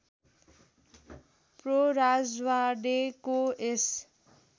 pro राजवाड़ेको यस